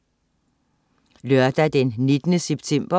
Lørdag den 19. september